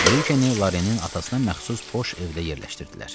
Brikeni Larenin atasına məxsus boş evdə yerləşdirdilər.